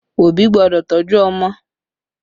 Òbí gbọ́dọ̀ tọ́jú ọmọ